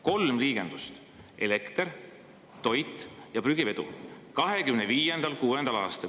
Kolm liigendust: elekter, toit ja prügivedu, 2025. ja 2026. aastal.